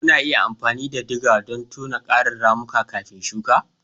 Kuna iya amfani da digger don tona ƙarin ramuka kafin shuka.